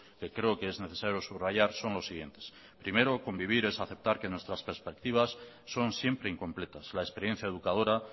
que creo que es necesario subrayar son los siguientes primero convivir es aceptar que nuestras perspectivas son siempre incompletas la experiencia educadora